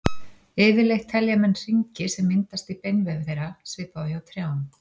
Yfirleitt telja menn hringi sem myndast í beinvef þeirra, svipað og hjá trjám.